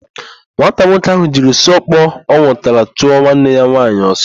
Nwata nwoke ahụ jiri osu ọkpọ ọ nwụtara chụọ nwanne ya nwaanyị ọsọ.